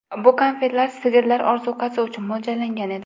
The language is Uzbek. Bu konfetlar sigirlar ozuqasi uchun mo‘ljallangan edi.